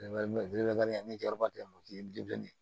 Ni jaba delila k'o ye